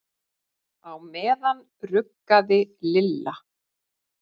Á meðan ruggaði Lilla